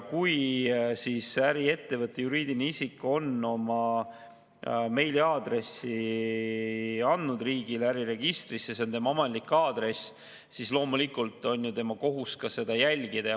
Kui äriettevõte, juriidiline isik on oma meiliaadressi andnud riigi äriregistrisse, see on tema ametlik aadress, siis loomulikult on tal kohustus seda jälgida.